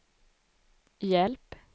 hjälp